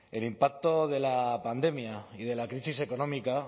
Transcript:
el impacto de la pandemia y de la crisis económica